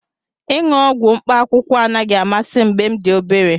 Ịṅụ ọgwụ mkpaakwụkwọ anaghị amasị m mgbe m dị obere